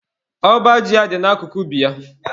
Ọba ji ya dị na akụkụ ubi ya.